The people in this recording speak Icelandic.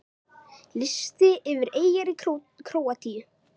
Listi yfir eyjar í Króatíu